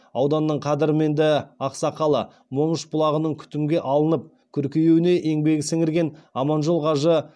ауданның қадірменді ақсақалы момыш бұлағының күтімге алынып көркеюіне еңбек сіңірген аманжол қажы